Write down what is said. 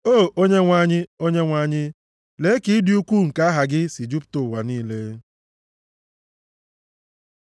O Onyenwe anyị, Onyenwe anyị, lee ka ịdị ukwuu nke aha gị si jupụta ụwa niile.